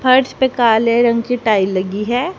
फर्श पे काले रंग की टाइल लगी है।